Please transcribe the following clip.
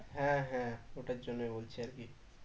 হ্যাঁ হ্যাঁ ওটার জন্যই বলছি আর কি